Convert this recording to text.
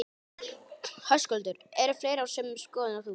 Höskuldur: Eru fleiri á sömu skoðun og þú?